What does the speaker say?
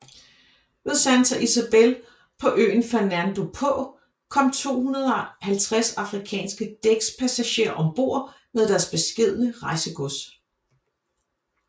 Ved Santa Isabel på øen Fernando på kom 250 afrikanske dækspassagerer ombord med deres beskedne rejsegods